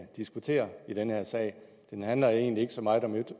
diskuterer i den her sag den handler egentlig ikke så meget om